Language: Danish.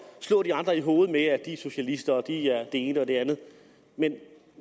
slå de andre i hovedet med at de er socialister at de er det ene og det andet men